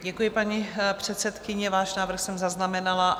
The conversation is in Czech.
Děkuji, paní předsedkyně, váš návrh jsem zaznamenala.